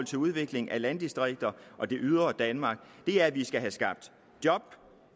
til udviklingen af landdistrikterne og det ydre danmark det er at vi skal have skabt job